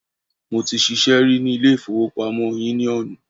Mo ti ṣiṣẹ́ rí ní ilé ìfowópamọ́ yúníọ̀nù